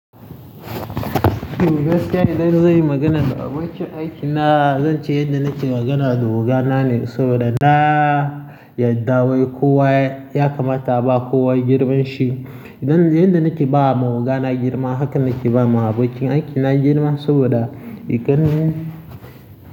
Ni dai gaskiya idan zan yi magana da abokin aiki na, zan ce yadda nake magana da wuga na ne saboda na yadda wai kowa ya kamata ba kowa girman shi. Idan yadda nake ba wa oga na girma, haka nake ba ma abokin aiki na girma saboda iken.